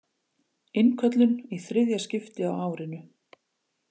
Innköllun í þriðja skipti á árinu